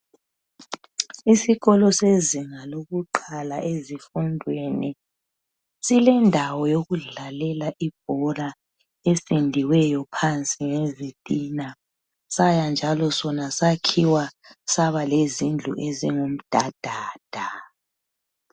Isikolo sezinga lokuqala ezifundweni silendawo yokudlalela ibhora. Ependiweyo phansi ngezitina Saya njalo sona sakhiwa sabalezindlu ezingumdadada.